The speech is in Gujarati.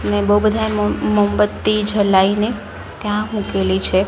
ને બો બધાએ મોમબત્તી ઝલાઈને ત્યાં મુકેલી છે.